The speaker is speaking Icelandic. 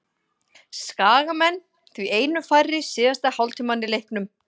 Skagamenn því einum færri síðasta hálftímann í leiknum.